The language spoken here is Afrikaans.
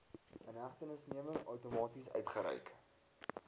inhegtenisneming outomaties uitgereik